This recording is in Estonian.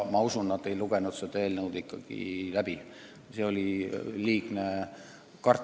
Ma usun, et nad ei lugenud seda eelnõu korralikult läbi ja sellest tekkis liigne kartus.